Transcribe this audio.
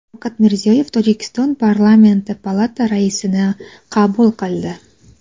Shavkat Mirziyoyev Tojikiston parlamenti palata raisini qabul qildi .